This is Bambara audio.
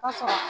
Kosɛbɛ